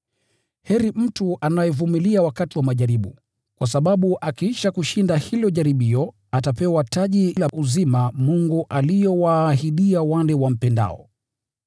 Heri mtu anayevumilia wakati wa majaribu, kwa sababu akiisha kushinda hilo jaribio atapewa taji la uzima Mungu alilowaahidia wale wampendao.